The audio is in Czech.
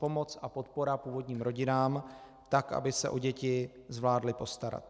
Pomoc a podpora původním rodinám, tak aby se o děti zvládly postarat.